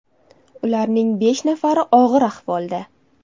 Ularning besh nafari og‘ir ahvolda.